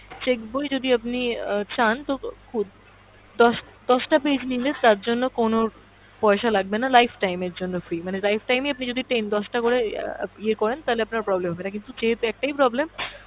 cheque বই যদি আপনি অ্যাঁ চান তো খু দশ, দশ টা page নিলে তার জন্য কোনো পয়সা লাগবে না lifetime এর জন্য free, মানে lifetime এ আপনি যদি ten দশটা করে ইয়ে করেন তাহলে আপনার problem হবেনা কিন্তু যেহেতু একটাই problem,